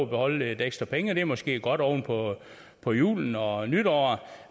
beholde lidt ekstra penge og det er måske godt oven på på julen og nytåret